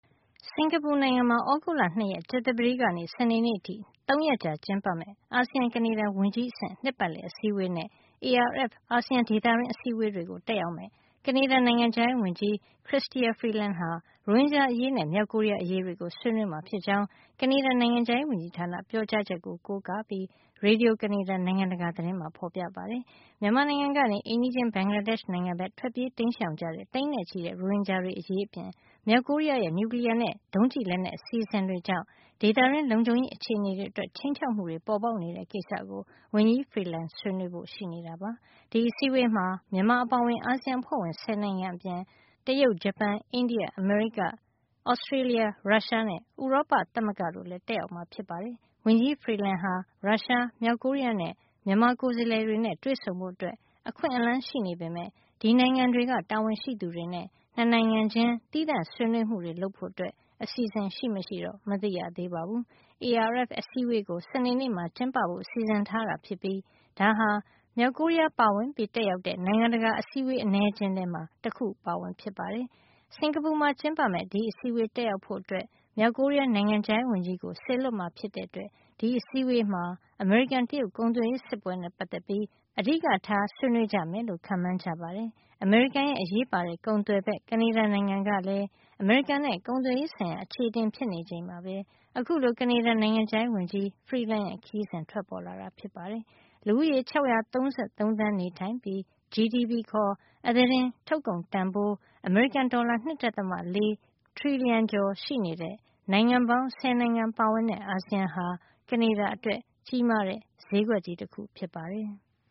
စင်္ကာပူနိုင်ငံမှာ သြဂုတ်လ ၂ ရက် ကြာသပတေးကနေ စနေနေ့အထိ ၃ ရက်ကြာ ကျင်းပမယ့် အာဆီယံ - ကနေဒါ ဝန်ကြီးအဆင့် နှစ်ပတ်လည် အစည်းဝေး နဲ့ ARF အာဆီယံ ဒေသတွင်းအစည်းဝေး တွေကို တက်ရောက်မယ့် ကနေဒါ နိုင်ငံခြားရေးဝန်ကြီး Chrystia Freeland ဟာ ရိုဟင်ဂျာအရေးနဲ့ မြောက်ကိုရီးယားအရေးကို ဆွေးနွေးမှာ ဖြစ်ကြောင်း ကနေဒါ နိုင်ငံခြားရေးဝန်ကြီးဌာန ပြောကြားချက်ကို ကိုးကားပြီး ရေဒီယို - ကနေဒါ နိုင်ငံတကာ သတင်းမှာ ဖေါ်ပြထားပါတယ်။ မြန်မာနိုင်ငံကနေ အိမ်နီးချင်းဘင်္ဂလားဒေ့ရှ် နိုင်ငံဘက်ကို ထွက်ပြေးတိမ်းရှောင်ကြတဲ့ သိန်းနဲ့ချီတဲ့ ရိုဟင်ဂျာတွေ အရေးအပြင် မြောက်ကိုရီးယားရဲ့ နျူကလီယားနဲ့ ဒုံးကျည်လက်နက် အစီအစဉ်တွေကြောင့် ဒေသတွင်း လုံခြုံရေး အခြေအနေအတွက် ခြိမ်းခြောက်မှုတွေ ပေါ်ပေါက်နေတဲ့ ကိစ္စကို ဝန်ကြီး Freeland ဆွေးနွေးဖို့ ရှိတာပါ။ ဒီအစည်းအဝေးမှာ မြန်မာအပါအဝင် အာဆီယံအဖွဲ့ဝင် ၁၀ နိုင်ငံအပြင် တရုတ်၊ ဂျပန်၊ အိန္ဒိယ၊ အမေရိက၊ Australia ရုရှား နဲ့ ဥရောပသမဂ္ဂ တို့လည်း တက်ရောက်မှာ ဖြစ်ပါတယ်။ ဝန်ကြီး Freeland ဟာ ရုရှား၊ မြောက်ကိုရီးယားနဲ့ မြန်မာကိုယ်စားလှယ်တွေနဲ့ တွေ့ဆုံဖို့ အခွင့်အလန်း ရှိနေပေမယ့် ဒီနိုင်ငံတွေက တာဝန်ရှိသူတွေနဲ့ ၂ နိုင်ငံချင်း သီးသန့် ဆွေးနွေးမှုတွေ လုပ်ဖို့ အစီစဉ် ရှိမရှိတော့ မသိရသေးပါဘုူး။ ARF အစည်းအဝေးကို စနေနေ့မှာ ကျင်းပဖို့ စီစဉ်ထားတာဖြစ်ပြီး ဒါဟာ မြောက်ကိုရီးယားပါဝင် တက်ရောက်တဲ့ နိုင်ငံတကာအစည်းအဝေး အနည်းအကျဉ်းထဲမှာ တခုအပါအဝင် ဖြစ်ပါတယ်။ စင်္ကာပူမှာ ကျင်းပမယ့် ဒီအစည်းအဝေးတက်ရောက်ဖို့ မြောက်ကိုရီးယား နိုင်ငံခြားရေးဝန်ကြီး ကို စေလွှတ်မှာ ဖြစ်တဲ့အတွက် ဒီအစည်းဝေးမှာ အမေရိကန်- တရုတ် ကုန်သွယ်ရေး စစ်ပွဲနဲ့ ပတ်သက်ပြီး အဓိကထား ဆွေးနွေးကြမယ်လို့ ခန့်မှန်းကြပါတယ်။ အမေရိကန်ရဲ့ အရေးပါတဲ့ ကုန်သွယ်ဖက် ကနေဒါ နိုင်ငံကလည်း အမေရိကန်နဲ့ ကုန်သွယ်ရေး ဆိုင်ရာ အခြေအတင်ဖြစ်နေချိန်မှာပဲ အခုလို ကနေဒါနိုင်ငံခြားရေးဝန်ကြီး Freeland ရဲ့ ခရီးစဉ် ထွက်ပေါ်လာတာဖြစ်ပါတယ်။ လူဦးရေ ၆၃၃ သန်း နေထိုင်ပြီး GDP ခါ် အသားတင်ထုတ်ကုန်တန်ဖိုး အမေရိကန် ဒေါ်လာ ၂.၄ ထရီလီယံ ကျော်ရှိနေတဲ့ နိုင်ငံပေါင်း ဆယ်နိုင်ငံပါဝင်တဲ့ အာဆီယံဟာ ကနေဒါ အတွက် ကြီးမားတဲ့ ဈေးကွက်ကြီး တခု ဖြစ်ပါတယ်။